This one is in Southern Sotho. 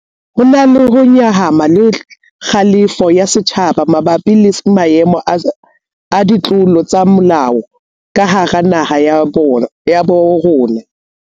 Ho na le ho nyahama le kgalefo ya setjhaba mabapi le maemo a ditlolo tsa molao ka hara naha ya bo rona.